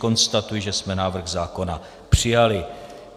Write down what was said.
Konstatuji, že jsme návrh zákona přijali.